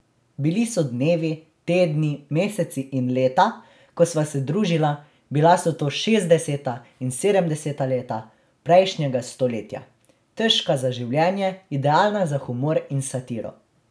Bili so dnevi, tedni, meseci in leta, ko sva se družila, bila so to šestdeseta in sedemdeseta leta prejšnjega stoletja, težka za življenje, idealna za humor in satiro.